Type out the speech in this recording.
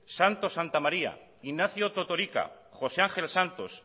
santos santamaría ignacio totorika josé ángel santos